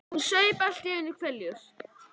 Hún saup allt í einu hveljur.